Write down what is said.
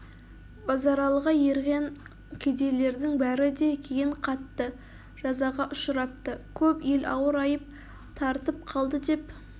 базаралыға ерғен кедейлердің бәрі де кейін қатты жазаға ұшырапты көп ел ауыр айып тартып қалды деп